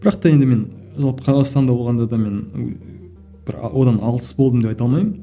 бірақ та енді мен жалпы қазақстанда болғанда да мен бір одан алыс болдым деп айта алмаймын